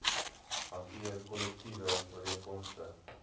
hanteer kollektiewe ooreenkomste